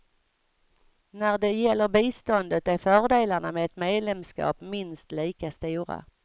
När det gäller biståndet är fördelarna med ett medlemskap minst lika stora.